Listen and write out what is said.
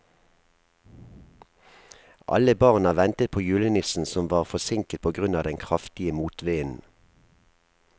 Alle barna ventet på julenissen, som var forsinket på grunn av den kraftige motvinden.